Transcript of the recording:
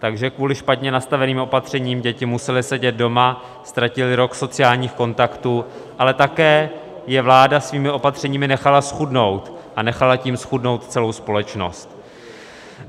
Takže kvůli špatně nastaveným opatřením děti musely sedět doma, ztratily rok sociálních kontaktů, ale také je vláda svými opatřeními nechala zchudnout, a nechala tím zchudnout celou společnost.